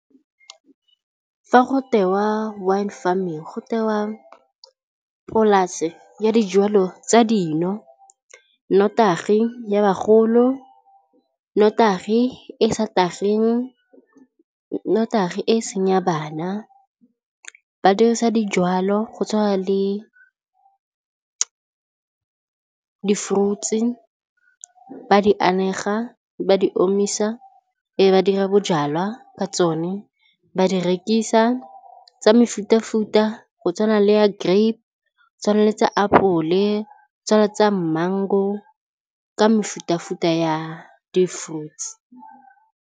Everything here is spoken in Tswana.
Fa go tewa wine farming go tewa polase ya dijwalo tsa dino, nnotagi ya bagolo, nnotagi e sa tageng, nnotagi e seng ya bana. Ba dirisa dijalo go tshwana le di-fruits, ba di anega ba di omisa be ba dira bojalwa ka tsone ba di rekisa tsa mefuta futa go tshwana le ya grape, go tshwana le tsa apole, tsa mango ka mefuta futa ya di-fruits.